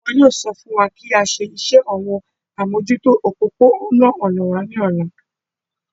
Wọn yóò sọ fún wa kí á ṣe iṣẹ́ àwọn amójútó òpópó-ònà wa ní ọ̀la